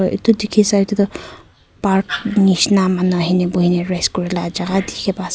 itu dikhi sai tey tu park nishina manu ahina buhina rest kurela jagah dikhi pai ase.